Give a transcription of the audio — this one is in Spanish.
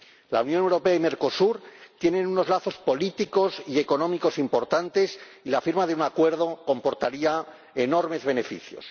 La Unión Europea y Mercosur tienen unos lazos políticos y económicos importantes y la firma de un acuerdo comportaría enormes beneficios.